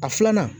A filanan